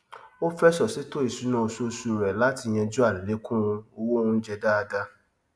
ó fẹsọ ṣètò ìṣúná oṣooṣù rẹ latí yanjú àlékún owó oúnjẹ dáadá